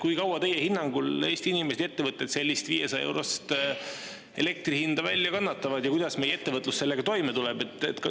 Kui kaua teie hinnangul Eesti inimesed ja ettevõtted sellist 500-eurost elektri hinda välja kannatavad ja kuidas meie ettevõtlus sellega toime tuleb?